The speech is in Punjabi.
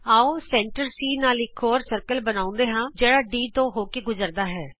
ਆਉ ਕੇਂਦਰ C ਨਾਲ ਇਕ ਹੋਰ ਗੋਲਾ ਬਣਾਉਂਦੇ ਹਾਂ ਜਿਹੜਾ D ਤੋਂ ਹੋ ਕੇ ਗੁਜਰਦਾ ਹੈ